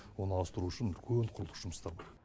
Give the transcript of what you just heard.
оны ауыстыру үшін үлкен құрылыс жұмыстары